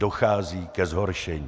Dochází ke zhoršení.